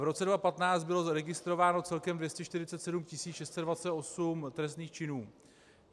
V roce 2015 bylo zaregistrováno celkem 247 628 trestných činů.